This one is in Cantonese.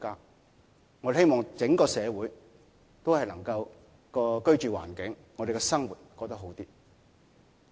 我們希望整個社會都能夠在居住環境和生活上過得好一點。